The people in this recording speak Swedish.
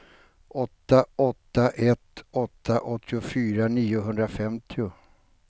åtta åtta ett åtta åttiofyra niohundrafemtio